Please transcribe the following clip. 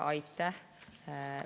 Aitäh!